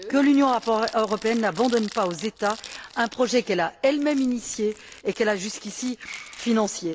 Que l'Union européenne n'abandonne pas aux États un projet qu'elle a elle même initié et qu'elle a jusqu'ici financé.